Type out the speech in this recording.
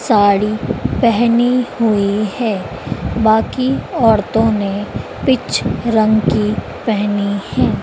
साड़ी पेहनी हुई है बाकी औरतों ने पिच रंग की पेहनी है।